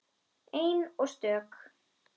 Ein og stök.